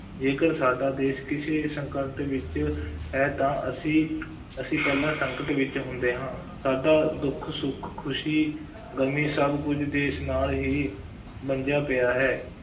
ਜੇਕਰ ਸਾਡਾ ਦੇਸ਼ ਕਿਸੇ ਸੰਕਟ ਵਿੱਚ ਹੈ, ਤਾਂ ਅਸੀਂ ਅਸੀਂ ਪਹਿਲਾਂ ਸੰਕਟ ਵਿੱਚ ਹੁੰਦੇ ਹਾਂ, ਸਾਡਾ ਦੁੱਖ, ਸੁੱਖ, ਖੁਸ਼ੀ ਗਮੀ ਸਭ ਕੁੱਝ ਦੇਸ਼ ਨਾਲ ਹੀ ਬੰਨ੍ਹਿਆ ਪਿਆ ਹੈ,